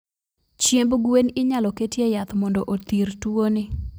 Chiemb gwen inyalo ketie yath mondo othir tuo ni.